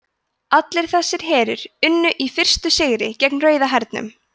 allir þessir herir unnu í fyrstu sigra gegn rauða hernum